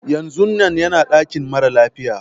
Yanzun nan yana dakin mara lafiya.